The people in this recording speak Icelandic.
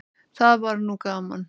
Það var nú gaman.